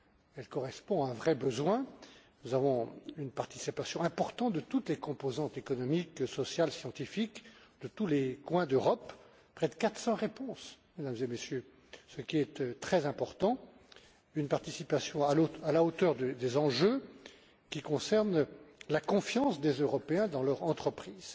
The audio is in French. Elle correspond à un vrai besoin. Nous notons une participation importante de toutes les composantes économiques, sociales et scientifiques de tous les coins d'Europe, près de 400 réponses Mesdames et Messieurs ce qui est très important. C'est une participation à la hauteur des enjeux qui ont trait à la confiance des Européens dans leur entreprise.